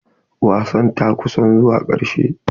Wasan ta ƙusan zuwa karshe.